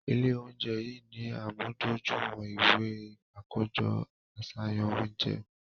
Ile ounjẹ yii ni amudojuiwọn iwe akojọ aṣayan ounjẹ